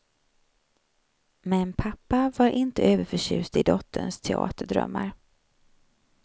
Men pappa var inte överförtjust i dotterns teaterdrömmar.